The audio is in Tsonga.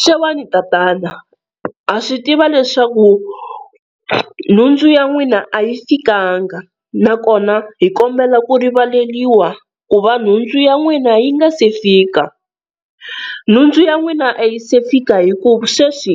Xewani tatana, ha swi tiva leswaku nhundzu ya n'wina a yi fikanga na kona hi kombela ku rivaleliwa ku va nhundzu ya n'wina yi nga si fika. Nhundzu ya n'wina a yi se fika hi ku sweswi